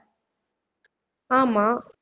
ஆமா